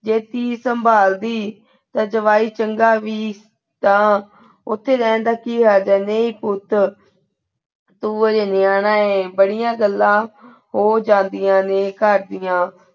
ਜੇ ਧੀ ਸੰਭਾਲਦੀ ਤਾਂ ਜਵਾਈ ਚੰਗਾ ਵੀ ਤਾਂ ਉਥੇ ਰਹਿਣ ਦਾ ਕੀ ਹਰਜ ਆ, ਨਹੀਂ ਪੁੱਤ ਤੂੰ ਹਜੇ ਨਿਆਣਾ ਹੈਂ, ਬੜੀਆਂ ਗੱਲਾਂ ਹੋ ਜਾਂਦੀਆਂ ਨੇ ਘਰ ਦੀਆਂ।